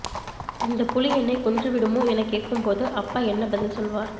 இந்தப் புலி என்னைக் கொன்றுவிடுமா எனக் கேட்கும் போது அப்பா என்ன பதில் சொல்லுவார்